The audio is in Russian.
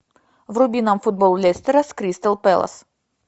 вруби нам футбол лестера с кристал пэлас